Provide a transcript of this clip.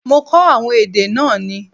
Mo kó àwọn èdè náà ni.